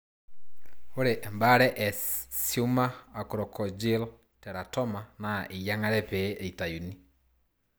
Ore embare e sumor. acrococcygeal teratoma naa eyiangare pee eitayuni